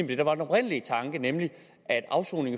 det der var den oprindelige tanke nemlig at afsoning